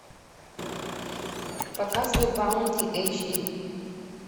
показывай баунти эйч ди